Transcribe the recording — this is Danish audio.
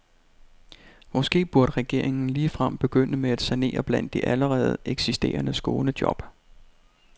Måske burde regeringen ligefrem begynde med at sanere blandt de allerede eksisterende skånejob.